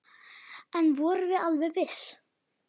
En við vorum alveg viss.